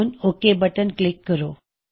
ਹੁਣ okay button click ਕਰੋ